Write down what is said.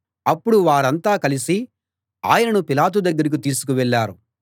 అప్పుడు వారంతా కలసి ఆయనను పిలాతు దగ్గరికి తీసుకువెళ్ళారు